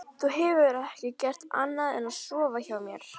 Þú hefur ekki gert annað en að sofa hjá mér.